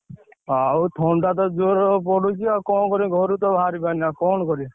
ଆଉ ଥଣ୍ଡା ତ ଜୋରେ ପଡୁଛି ଆଉ କଣ କରିବି ଘରୁ ତ ବାହାରିପାରୁନି ଆଉ କଣ କରିଆ?